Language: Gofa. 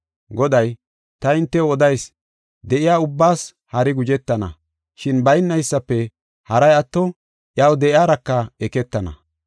“Goday, ta hintew odayis; ‘De7iya ubbaas hari guzhetana, shin baynaysafe haray atto iyaw de7iyaraka eketana.